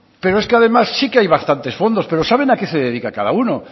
pero es que además sí que hay bastantes fondos pero saben a qué se dedica cada uno